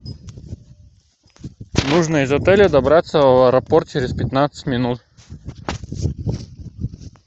нужно из отеля добраться в аэропорт через пятнадцать минут